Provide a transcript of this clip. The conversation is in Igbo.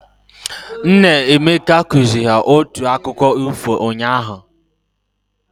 Nna Emeka kụziri ha otu akụkkọ ifo unyaahụ.